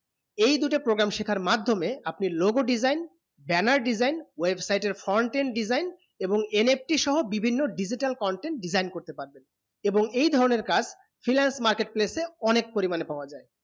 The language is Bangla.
এই দুটি programme শিক্ষার মাধমিয়ে আপনি logo design banner design website এর en design এবং NFT সোহো বিভিন্ন digoital content design করতে পারবেন এবং এই ধরণে কাজ freelance market place এ অনেক পরিমাণে পাবা যায়